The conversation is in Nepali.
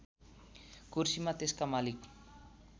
कुर्सीमा त्यसका मालिक